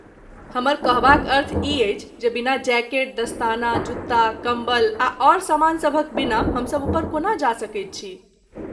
हमर कहबाक अर्थ ई अछि जे बिना जैकेट, दस्ताना, जुत्ता, कम्बल आ आओर सामानसभक बिना हमसब उपर कोना जा सकैत छी?